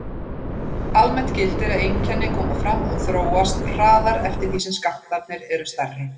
Almennt gildir að einkenni koma fram og þróast hraðar eftir því sem skammtarnir eru stærri.